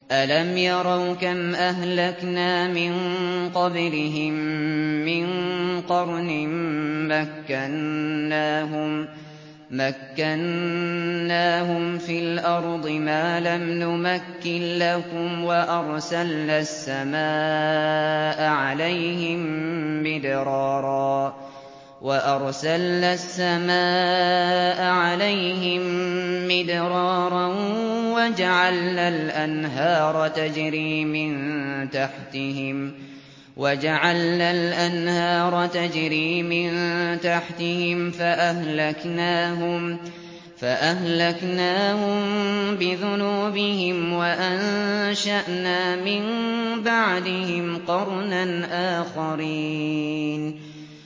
أَلَمْ يَرَوْا كَمْ أَهْلَكْنَا مِن قَبْلِهِم مِّن قَرْنٍ مَّكَّنَّاهُمْ فِي الْأَرْضِ مَا لَمْ نُمَكِّن لَّكُمْ وَأَرْسَلْنَا السَّمَاءَ عَلَيْهِم مِّدْرَارًا وَجَعَلْنَا الْأَنْهَارَ تَجْرِي مِن تَحْتِهِمْ فَأَهْلَكْنَاهُم بِذُنُوبِهِمْ وَأَنشَأْنَا مِن بَعْدِهِمْ قَرْنًا آخَرِينَ